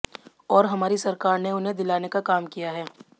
और हमारी सरकार ने उन्हें दिलाने का काम किया है